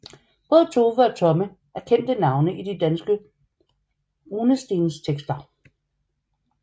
Både Tove og Tomme er kendte navne i de danske runestenstekster